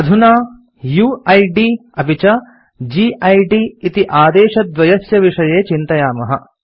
अधुना यूआईडी अपि च गिद् इति आदेशद्वयस्य विषये चिन्तयामः